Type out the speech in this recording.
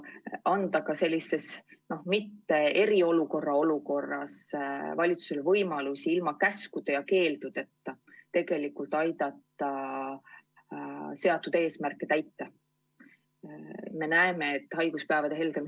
See annab ka sellises mitte-eriolukorras valitsusele võimaluse ilma käskude ja keeldudeta aidata seatud eesmärke saavutada.